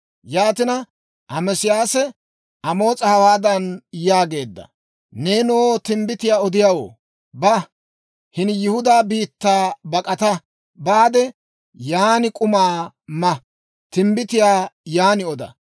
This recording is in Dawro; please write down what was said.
Yaatina Ameesiyaasee Amoos'a hawaadan yaageedda; «Neenoo timbbitiyaa odiyaawoo, ba; hini Yihudaa biittaa bak'ata baade, yan k'uma ma; timbbitiyaa yan oda.